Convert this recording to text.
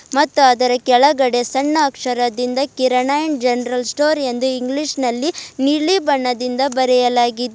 ಮತ್ತ್ ಅದರ ಕೆಳಗಡೆ ಸಣ್ಣ ಅಕ್ಷರದಿಂದ ಕಿರಣ ಅಂಡ್ ಜನರಲ್ ಸ್ಟೋರ್ ಎಂದು ಇಂಗ್ಲಿಷ್ ನಲ್ಲಿ ನೀಲಿ ಬಣ್ಣದಿಂದ ಬರೆಯಲಾಗಿದೆ.